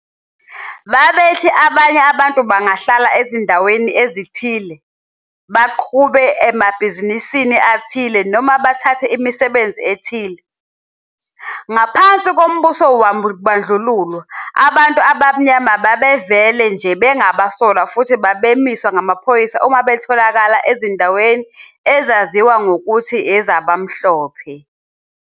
Babethi abanye abantu bangahlala ezindaweni ezithile, baqhube amabhizinisi athile noma bathathe imisebenzi ethile. Ngaphansi kombuso wobandlululo, abantu abamnyama babevele nje bengabasolwa futhi babemiswa ngamaphoyisa uma betholakala besezindaweni ezaziwa ngokuthi ezabamhlophe.